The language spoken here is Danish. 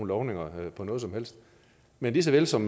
lovninger på noget som helst men lige så vel som